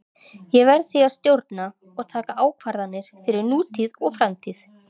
Ég verð því að stjórna og taka ákvarðanir fyrir nútíð og framtíð.